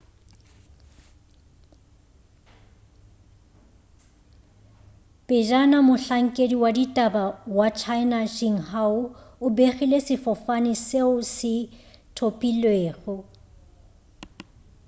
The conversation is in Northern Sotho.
pejana mohlankedi wa ditaba wa china xinhua o begile sefofane seo se thopilwego